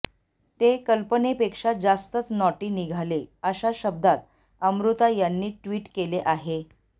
ते कल्पनेपेक्षा जास्तच नॉटी निघाले अशा शब्दात अमृता यांनी ट्विट केले आहे